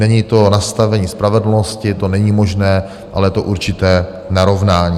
Není to nastavení spravedlnosti, to není možné, ale je to určité narovnání.